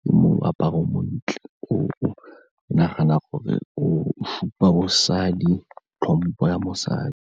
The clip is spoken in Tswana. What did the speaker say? ke mo aparang montle o o nagana gore o supa bosadi, tlhompho ya mosadi.